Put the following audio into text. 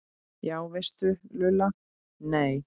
Já veistu Lulla, nei